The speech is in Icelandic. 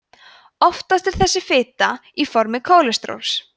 oftast er þessi fita á formi kólesteróls